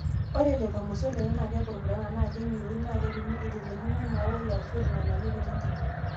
Ore lelo mosorr lenye naa kepurupurana naa keing'iroiin naa ketumi eitelekino emaauwai ashuu irng'anayio kutitik.